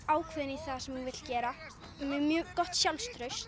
ákveðin í það sem hún vill gera með mjög gott sjálfstraust